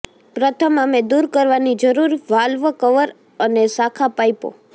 પ્રથમ અમે દૂર કરવાની જરૂર વાલ્વ કવર અને શાખા પાઈપો